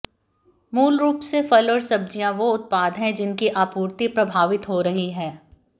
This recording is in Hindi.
मूल रूप से फल और सब्जियां वो उत्पाद है जिनकी आपूर्ति प्रभावित हो रही है